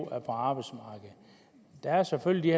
er på arbejdsmarkedet der er selvfølgelig